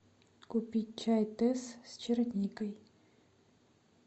купить чай тесс с черникой